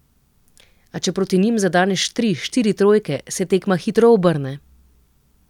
A če proti njim zadeneš tri, štiri trojke, se tekma hitro obrne.